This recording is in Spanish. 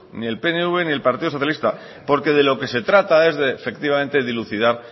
ni el pnv ni el partido socialista porque de lo que se trata es de efectivamente dilucidar